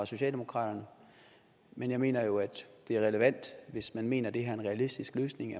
socialdemokratiet men jeg mener det er relevant at man hvis man mener det her er en realistisk løsning